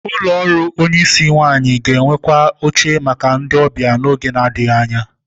Ụlọ ọrụ onyisi nwanyi ga-enwekwu oche maka ndị ọbịa n'oge na-adịghị anya.